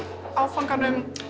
áfanganum